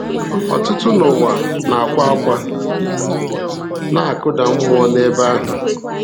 Ọtụtụ n’ụwa na-akwa ákwá, na-akụda mmụọ n’ebe ahụ.